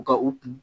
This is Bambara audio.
U ka u kun